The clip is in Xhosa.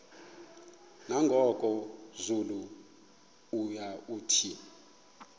nangoku zulu uauthi